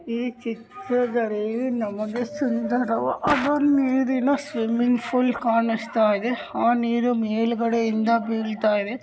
ಈ ಚಿತ್ರದಲ್ಲಿ ನಮಗೆ ಸುಂದರವಾದ ನೀರಿನ ಸ್ವಿಮ್ಮಿಂಗ್ ಫೂಲ್ ಕಾಣುಸ್ತಯಿದೆ ಆ ನೀರು ಮೇಲುಗಡೆಯಿಂದ ಬಿಳ್ತಾಯಿದೆ .